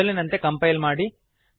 ಮೊದಲಿನಂತೆ ಕಂಪೈಲ್ ಮಾಡಿ